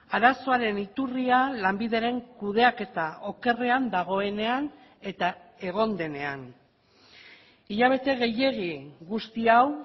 arazoaren iturria lanbideren kudeaketa okerrean dagoenean eta egon denean hilabete gehiegi guzti hau